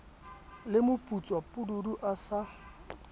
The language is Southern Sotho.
le moputswa pududu a sa